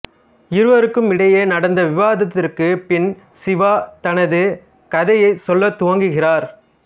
இருவருக்குமிடையே நடந்த விவாதத்திற்குப் பின் சிவா தனது கதையை சொல்லத் துவங்குகிறார்